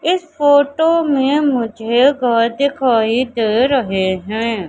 इस फोटो में मुझे घर दिखाई दे रहे हैं।